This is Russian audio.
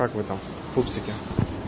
как вы там пупсики